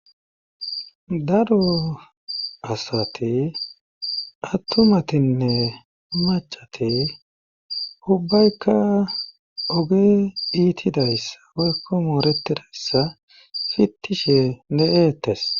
daro asati attumatinne macati ubbaykka oge iitidayssa oykko mooretidayssa fittishe de'eettes